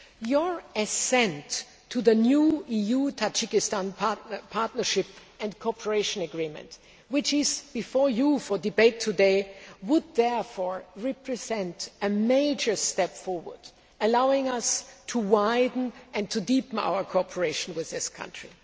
Your assent to the new EU Tajikistan Partnership and Cooperation Agreement, which is before you for debate today, would therefore represent a major step forward, allowing us to widen and deepen our cooperation with this country.